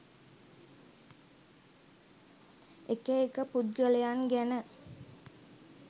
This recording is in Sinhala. එක එක පුද්ගලයන් ගැන